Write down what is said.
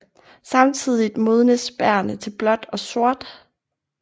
Samtidigt modnes bærrene til blåt og sort